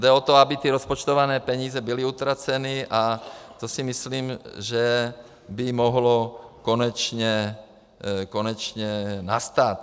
Jde o to, aby ty rozpočtované peníze byly utraceny, a to si myslím, že by mohlo konečně nastat.